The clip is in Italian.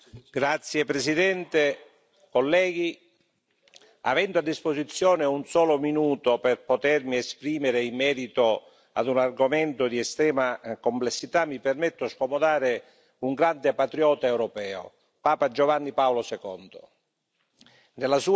Signora Presidente, onorevoli colleghi, avendo a disposizione un solo minuto per potermi esprimere in merito ad un argomento di estrema complessità, mi permetto di citare un grande patriota europeo, Papa Giovanni Paolo II.